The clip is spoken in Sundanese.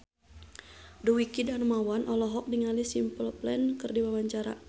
Dwiki Darmawan olohok ningali Simple Plan keur diwawancara